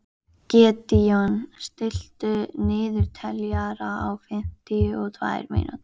Gídeon, stilltu niðurteljara á fimmtíu og tvær mínútur.